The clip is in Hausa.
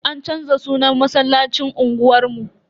An canza sunan masallacin unguwar mu.